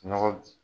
Nɔgɔ